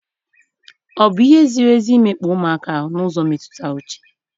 O bụ ihe ziri ezi imekpa ụmụaka ahu n'ụzọ mmetụta uche?